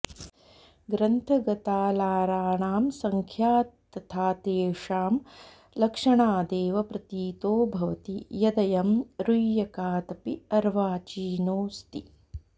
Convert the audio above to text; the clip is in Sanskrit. ग्रन्थगतालाराणां संख्या तथा तेषां लक्षणादेव प्रतीतो भवति यदयं रूय्यकादपि अर्वाचीनोऽस्ति